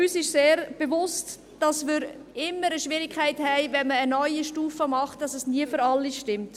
Uns ist sehr bewusst, dass wir immer eine Schwierigkeit haben, wenn man eine neue Stufe macht, dass es nie für alle stimmt.